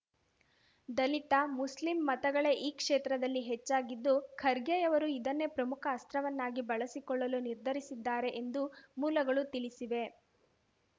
ದಲಿತ Muslim ಮತಗಳೇ ಈ ಕ್ಷೇತ್ರದಲ್ಲಿ ಹೆಚ್ಚಾಗಿದ್ದು ಖರ್ಗೆಯವರು ಇದನ್ನೇ ಪ್ರಮುಖ ಅಸ್ತ್ರವನ್ನಾಗಿ ಬಳಸಿಕೊಳ್ಳಲು ನಿರ್ಧರಿಸಿದ್ದಾರೆ ಎಂದು ಮೂಲಗಳು ತಿಳಿಸಿವೆ